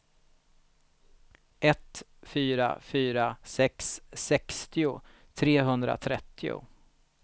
ett fyra fyra sex sextio trehundratrettio